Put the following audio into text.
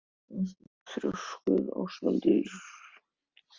Af hverju ertu svona þrjóskur, Ósvaldur?